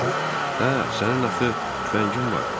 Hə, sənin axı tüfəngin var.